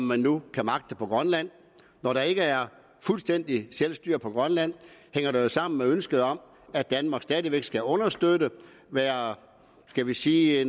man nu kan magte på grønland når der ikke er fuldstændig selvstyre på grønland hænger det jo sammen med ønsket om at danmark stadig væk skal understøtte og være en skal vi sige